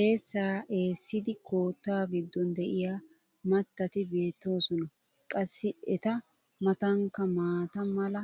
eessaa eessidi koottaa giddon diya matatti beetoosona. qassi eta matankka maata mala